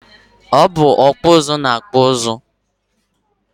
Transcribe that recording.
Ọ bụ ọkpụ ụzụ na-akpụ ụzụ